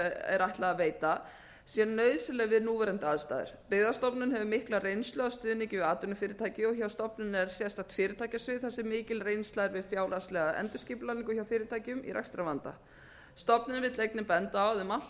er ætlað að veita sé nauðsynleg við núverandi aðstæður byggðastofnun hefur mikla reynslu af stuðningi við atvinnufyrirtæki og hjá stofnuninni er sérstakt fyrirtækjasvið þar sem mikil reynsla er við fjárhagslega endurskipulagningu hjá fyrirtækjum í rekstrarvanda stofnunin vill einnig benda á að um allt